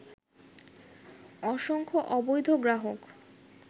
অসংখ্য অবধৈ গ্রাহক